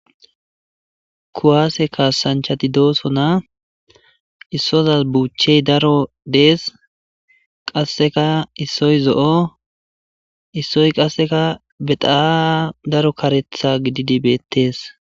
kuwaase kaasanchati dooso na issozas buuchchey daro dees qasseka issoy zo7o issoy qasseka bexaa daro karetha gididi beettes